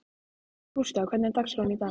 Gústav, hvernig er dagskráin í dag?